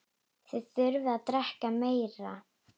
Þið þurfið að drekka meira.